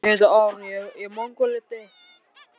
Stella virtist vera að bíða viðbragða hans.